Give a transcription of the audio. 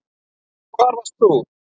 Hvar varst þú?